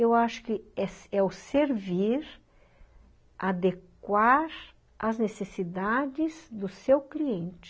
Eu acho que é é o servir adequar às necessidades do seu cliente.